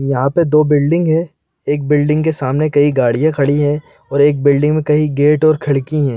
यहाँ पर दो बिल्डिंग है एक बिल्डिंग के सामने कई गाड़ियां खड़ी है और एक बिल्डिंग में कई गेट और खिड़की है।